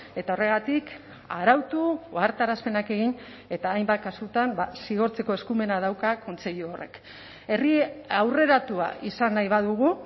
eta horregatik arautu ohartarazpenak egin eta hainbat kasutan zigortzeko eskumena dauka kontseilu horrek herri aurreratua izan nahi badugu